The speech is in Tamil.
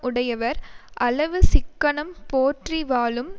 உடையவர் அளவு சிக்கனம் போற்றி வாழும்